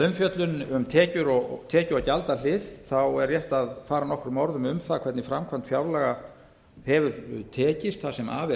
umfjöllun um tekju og gjaldahlið er rétt að fara nokkrum orðum um það hvernig framkvæmd fjárlaga hefur tekist það sem af er